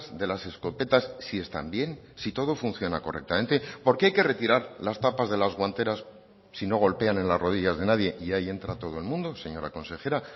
de las escopetas si están bien si todo funciona correctamente por qué hay que retirar las tapas de las guanteras sí no golpean en las rodillas de nadie y hay entra todo el mundo señora consejera